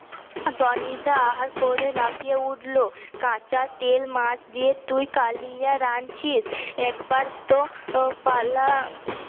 Tony da আহা করে লাফিয়ে উঠল কাঁচা তেল মাছ দিয়ে তুই কালিয়া রাঁধছিস একবার তো পালা আহ